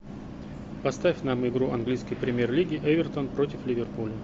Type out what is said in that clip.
поставь нам игру английской премьер лиги эвертон против ливерпуля